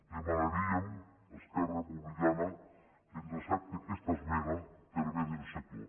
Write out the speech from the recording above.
demanaríem a esquerra republicana que ens accepte aquesta esmena per a bé del sector